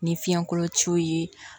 Ni fiɲɛkolo ciw ye